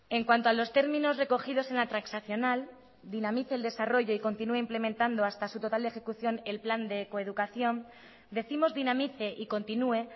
en cuanto a los términos recogidos en la transaccional dinamice el desarrollo y continúe implementando hasta su total ejecución el plan de coeducación decimos dinamice y continúe